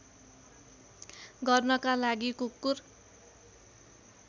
गर्नका लागि कुकुर